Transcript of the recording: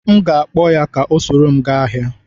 M ga-akpọ ya ka o soro m gaa ahịa.